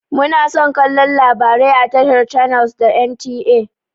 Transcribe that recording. Muna son kallon labarai a tashar channels da NTA.